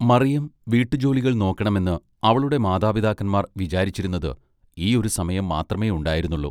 മറിയം വീട്ടുജോലികൾ നോക്കെണമെന്ന് അവളുടെ മാതാപിതാക്കന്മാർ വിചാരിച്ചിരുന്നത് ഈ ഒരു സമയം മാത്രമെയുണ്ടായിന്നുള്ളു.